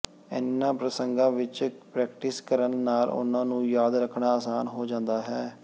ਇਨ੍ਹਾਂ ਪ੍ਰਸੰਗਾਂ ਵਿਚ ਪ੍ਰੈਕਟਿਸ ਕਰਨ ਨਾਲ ਉਨ੍ਹਾਂ ਨੂੰ ਯਾਦ ਰੱਖਣਾ ਆਸਾਨ ਹੋ ਜਾਂਦਾ ਹੈ